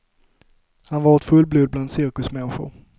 Han var ett fullblod bland cirkusmänniskor.